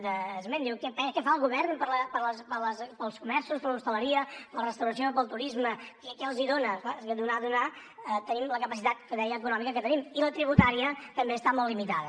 diu què fa el govern pels comerços per l’hostaleria per la restauració pel turisme què els dona és clar és que donar donar tenim la capacitat com deia econòmica que tenim i la tributària també està molt limitada